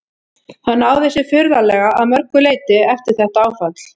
Hann náði sér furðanlega að mörgu leyti eftir þetta áfall.